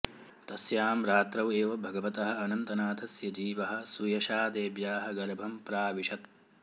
तस्यां रात्रौ एव भगवतः अनन्तनाथस्य जीवः सुयशादेव्याः गर्भं प्राविशत्